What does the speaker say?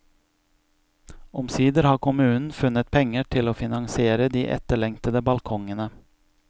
Omsider har kommunen funnet penger til å finansiere de etterlengtede balkongene.